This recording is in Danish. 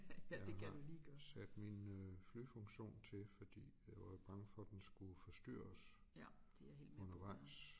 Jeg har sat min øh flyfunktion til fordi jeg var bange for den skulle forstyrre os undervejs